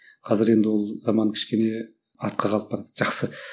қазір енді ол заман кішкене артқа қалып барады жақсы